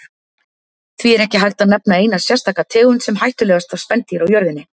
Því er ekki hægt að nefna eina sérstaka tegund sem hættulegasta spendýr á jörðinni.